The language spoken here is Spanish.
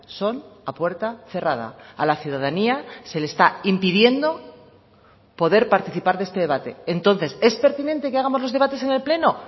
son a puerta cerrada a la ciudadanía se le está impidiendo poder participar de este debate entonces es pertinente que hagamos los debates en el pleno